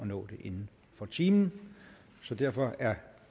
nå det inden for timen så derfor er